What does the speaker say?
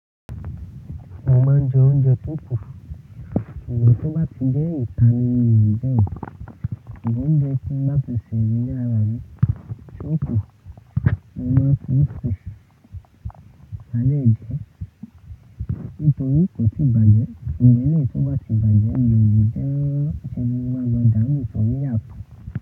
Mo máa ń jẹ oúnjẹ tó kún. But tó bá ti jẹ́ ìta ni mi ò lè jẹ o. Ṣùgbọ́n oúnjẹ tí n bá ti sè ní ilé ara mi tí ó kún, mo máa ń fi sùn má dẹ́ jẹ nítorí kò tí bàjẹ́, ṣùgbọ́n tí kò bá ti bàjẹ́ ni òyìnbó tí mo máa lọ dáànú sórí àtòn.